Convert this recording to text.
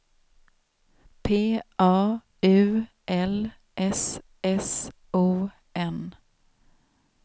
P A U L S S O N